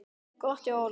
Gott hjá Óla.